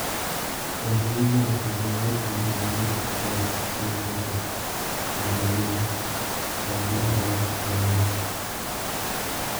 Orne imel kendo iwachne ni wabiro kalo chieng' ng'eso kendo ni wanereo chieng'no